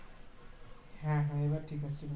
হ্যাঁ হ্যাঁ এবার ঠিক আছে